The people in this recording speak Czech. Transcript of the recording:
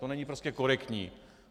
To není prostě korektní.